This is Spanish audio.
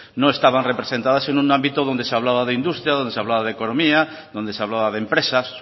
no estaban representadas en un ámbito donde se hablaba de industria donde se hablaba de economía donde se hablaba de empresas